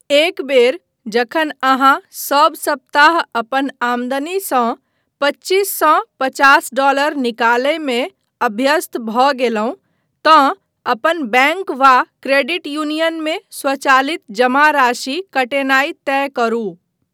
एक बेर जखन अहाँ सब सप्ताह अपन आमदनीसँ पच्चीस सँ पचास डॉलर निकालयमे अभ्यस्त भऽ गेलहुँ तँ अपन बैङ्क वा क्रेडिट यूनियन मे स्वचालित जमा राशि कटेनाय तय करू।